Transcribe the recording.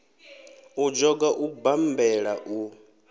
u dzhoga u bammbela u